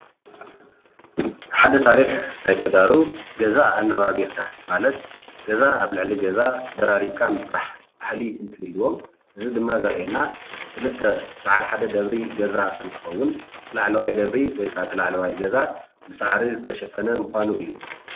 ሓደ ታሪክ ናይ ተጋሩ ገዛ ኣነባብቢርና ማለት ገዛ ኣብ ልዕሊ ገዛ ደራሪብካ ምስራሕ ባህሊ እንትህልዎም እዚ ድማ ዘርእየና ክልተ በዓል ሓደ ደብሪ ገዛ እንትከዉን እቲ ላዕለዋይ ደብሪ ወይከዓ እት ላዕለዋይ ገዛ ብሳዕሪ ዝተሸፈነ ምኻኑ እዩ።